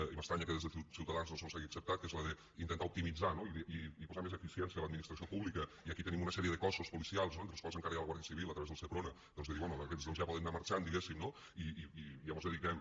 i m’estranya que des de ciutadans no se’ns hagi acceptat que és la d’intentar optimitzar i posar més eficiència a l’administració pública i aquí tenim una sèrie de cossos policials entre els quals encara hi ha la guàrdia civil a través del seprona de dir bé aquests doncs ja poden anar marxant diguem ne no i ja mos dediquem